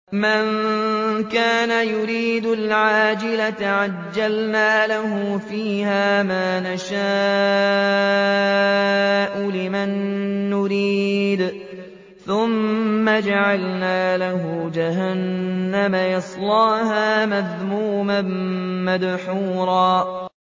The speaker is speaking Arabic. مَّن كَانَ يُرِيدُ الْعَاجِلَةَ عَجَّلْنَا لَهُ فِيهَا مَا نَشَاءُ لِمَن نُّرِيدُ ثُمَّ جَعَلْنَا لَهُ جَهَنَّمَ يَصْلَاهَا مَذْمُومًا مَّدْحُورًا